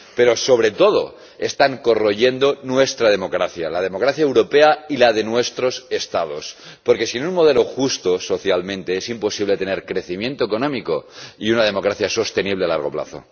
pero, sobre todo, están corroyendo nuestra democracia, la democracia europea y la de nuestros Estados, porque sin un modelo justo socialmente es imposible tener crecimiento económico y una democracia sostenible a largo plazo.